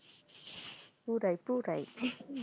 পুরাই পুরাই